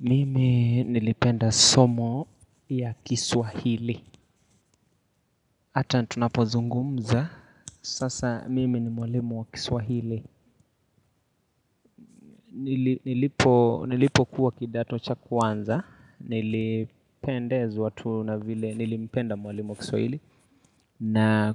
Mimi nilipenda somo ya kiswahili hata tunapozungumza sasa mimi ni mwalimu wa kiswahili Nilipokuwa kidato cha kwanza nilipendezwa tu na vile nilipenda mwalimu wa kiswahili na